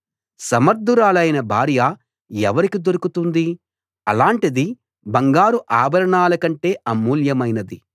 సమర్థురాలైన భార్య ఎవరికి దొరుకుతుంది అలాటిది బంగారు ఆభరణాల కంటే అమూల్యమైనది